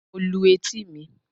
Mo lu etí mi.